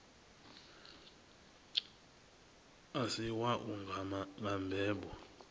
a si wau nga mbebo